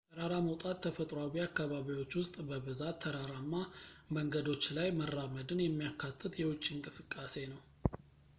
ተራራ መውጣት ተፈጥሯዊ አካባቢዎች ውስጥ በብዛት ተራራማ መንገዶች ላይ መራመድን የሚያካትት የውጪ እንቅስቃሴ ነው